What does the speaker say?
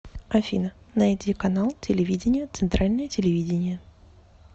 афина найди канал телевидения центральное телевидение